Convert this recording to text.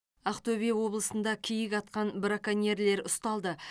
ақтөбе облысында киік атқан браконьерлер ұсталды